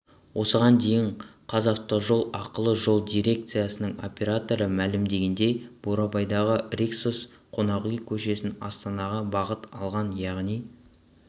осыған дейін қазавтожол ақылы жол дирекциясының операторы мәлімдегендей бурабайдағы риксос қонақүй кешенінен астанаға бағыт алған яғни